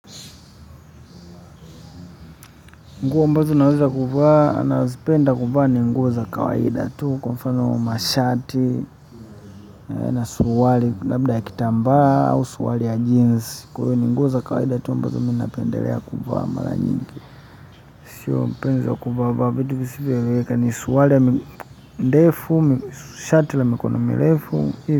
Nguo ambazo naweza kuvaa, nazipenda kuvaa ni nguo za kawaida tu kwa mfano mashati na suruali labda ya kitambaa au suruali ya jeans kwa hiyo ni nguo za kawaida tu ambazo mi napendelea kuvaa mara nyingi sio mpenzi kuvaavaa vitu visivyoeleweka ni suruali ya ndefu, shati ya mkono mirefu.